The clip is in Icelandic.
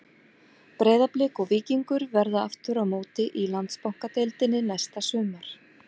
Breiðablik og Víkingur verða aftur á móti í Landsbankadeildinni næsta sumar.